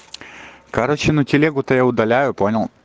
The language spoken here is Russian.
короче ну телегу то я удаляю понял